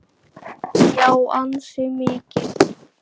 Já, ansi mikið.